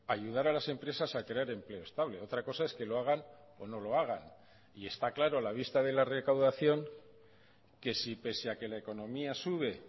ayudar a las empresas a crear empleo estable otra cosa es que lo hagan o no lo hagan y está claro a la vista de la recaudación que si pese a que la economía sube